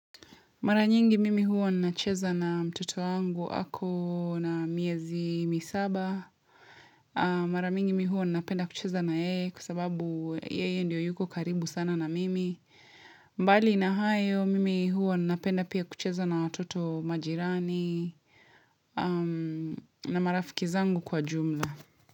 Mara nyingi mimi huwa nina cheza na mtoto wangu ako na miezi misaba. Mara mingi mimi huwa nina penda kucheza na yeye kwa sababu yeye ndio yuko karibu sana na mimi. Mbali na hayo mimi huwa nina penda pia kucheza na watoto majirani na marafiki zangu kwa jumla.